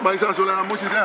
Ma ei saa sulle enam musi teha.